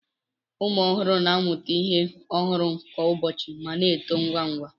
Ụmụ ọhụrụ na-amụta ihe ọhụrụ kwa ụbọchị ma na-eto ngwa ngwa